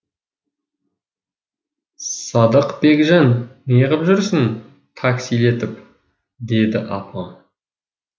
садықбекжан не қып жүрсің таксилетіп дейді апам